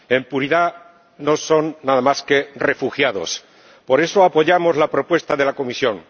En puridad no son nada más que refugiados, por eso apoyamos la propuesta de la Comisión.